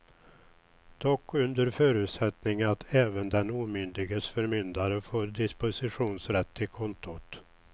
Dock under förutsättning att även den omyndiges förmyndare får dispositionsrätt till kontot.